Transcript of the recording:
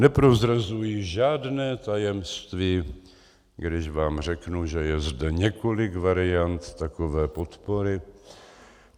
Neprozrazuji žádné tajemství, když vám řeknu, že je zde několik variant takové podpory.